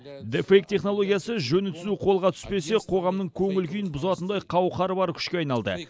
де фейк технологиясы жөні түзу қолға түспесе қоғамның көңіл күйін бұзатындай қауқары бар күшке айналды